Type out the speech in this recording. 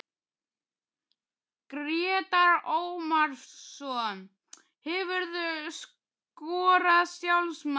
Grétar Ómarsson Hefurðu skorað sjálfsmark?